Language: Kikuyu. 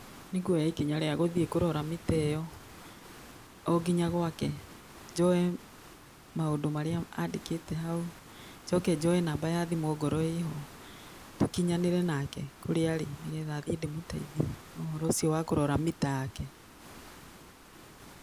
Nĩ kuoya ikinya rĩa gũthiĩ kũrora mita ĩyo o nginya gwake, njoe maũndũ marĩa andĩkĩte hau, njoke njoe namba ya thimũ ongorwo ĩ ho, tũkinyanĩre nake kũrĩa arĩ nĩgetha thiĩ ndĩmũteithie na ũhoro ũcio wa kũrora mita yake.